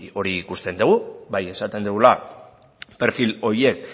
hori ikusten dugu bai esaten dugula perfil horiek